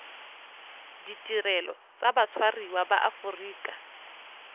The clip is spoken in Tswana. ditirelo tsa batshwariwa ba aforika